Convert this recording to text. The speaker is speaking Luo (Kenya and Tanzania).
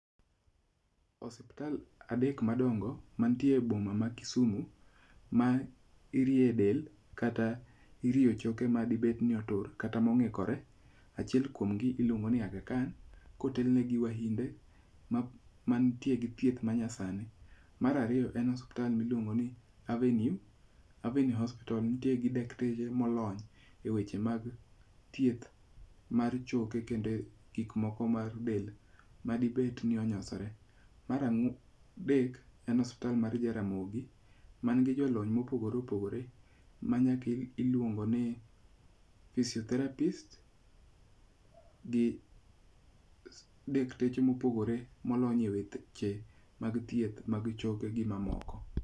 Osiptal adek madongo mantie e boma ma Kisumo ma irie del kata irie choke ma di bed ni otur kata mong'ikore, achiel kuom gi iluongo ni Agha Khan kotel ne gi wahinde mantie gi thieth ma nyasani. Mar ariyo en osiptal miluongo ni Avenue. Avenue Hospital nitie gi dakteche molony e weche mag thieth mar choke kod gik moko mar del ma dibed ni onyosore. Mar adek en osiptal mar Jaramogi man gi jolony mopogore opogore ma nyaki iluongo ni physiopherapist gi dakteche mopogore molony e weche mag thieth mag choke gi mamoko.